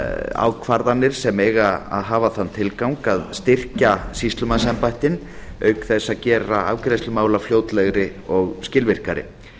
ákvarðanir se eiga að hafa kann tilgang að styrkja sýslumannsembættin auk þess að gera afgreiðslu málafljótlegri og skilvirkari